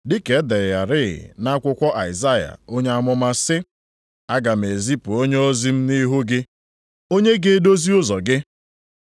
Dịka e dere ya rịị nʼakwụkwọ Aịzaya onye amụma sị, “Aga m ezipu onyeozi m nʼihu gị, onye ga-edozi ụzọ gị.” + 1:2 \+xt Mal 3:1\+xt*